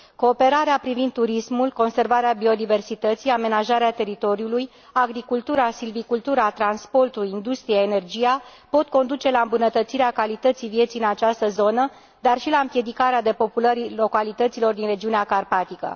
Cooperarea privind turismul, conservarea biodiversității, amenajarea teritoriului, agricultura, silvicultura, transporturile, industria, energia pot conduce la îmbunătățirea calității vieții în această zonă, dar și la împiedicarea depopulării localităților din regiunea carpatică.